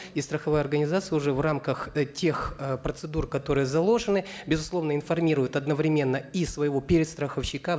и страховая организация уже в рамках э тех э процедур которые заложены безусловно информирует одновременно и своего перестраховщика